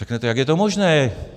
Řeknete - jak je to možné?